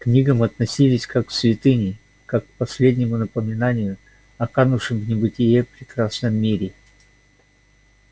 книгам относились как к святыне как к последнему напоминанию о канувшем в небытие прекрасном мире